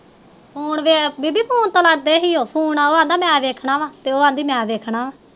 phone ਉਹ ਅਹੰਦਾ ਮੈ ਵੇਖਣਾ ਵਾ ਉਹ ਅਹੰਦੀ ਮੈ ਵੇਖਣਾ